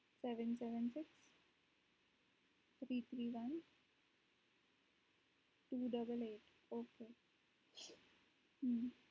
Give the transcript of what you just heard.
seven seven six three three one two eight eight ok